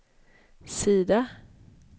sida